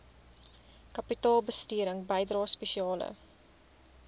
kapitaalbesteding bydrae spesiale